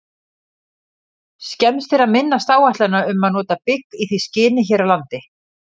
Skemmst er að minnast áætlana um að nota bygg í því skyni hér á landi.